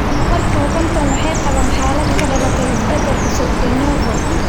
boqolkiba konton kale waxay qabaan xaalad ka dhalatay isbedel cusub (de novo).